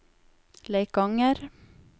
Leikanger